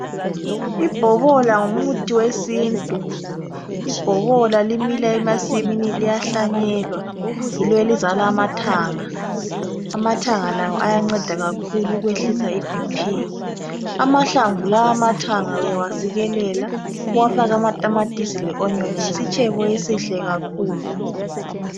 Ibhobola ngumuthi wesintu, lbhobola limila emasimini. Liyahlanyelwa. Yilo elizala amathanga. Amathanga lawo ayanceda kakhulu ukwehlisa iBP. Amahlamvu lawa awamathanga, uyawasikelela, uwafake amatamatisi le-onyoni. Yisitshebo esihle kakhulu.